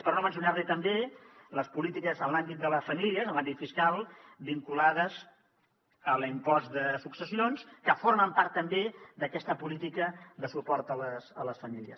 per no mencionar li també les polítiques en l’àmbit de les famílies en l’àmbit fiscal vinculades a l’impost de successions que formen part també d’aquesta política de suport a les famílies